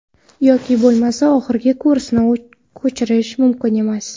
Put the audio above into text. Yoki bo‘lmasa, oxirgi kursni ko‘chirish mumkin emas.